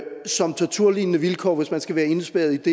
som torturlignende vilkår hvis man skal være indespærret